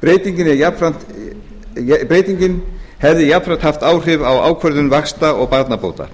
breytingin hefði jafnframt haft áhrif á ákvörðun vaxta og barnabóta